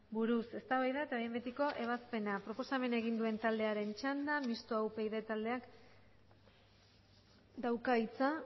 buruz eztabaida eta behin betiko ebazpena proposamena egin duen taldearen txanda mistoa upyd taldeak dauka hitza